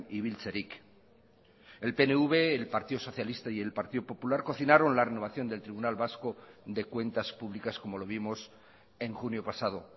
ibiltzerik el pnv el partido socialista y el partido popular cocinaron la renovación del tribunal vasco de cuentas públicas como lo vimos en junio pasado